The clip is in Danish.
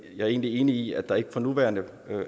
er egentlig enig i at der ikke for nuværende